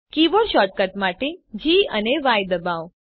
keyboard shortcut માટે G ડબાઓ